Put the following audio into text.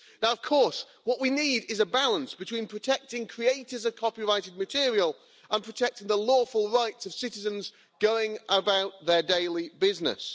Now, of course, what we need is a balance between protecting creators of copyrighted material and protecting the lawful rights of citizens going about their daily business.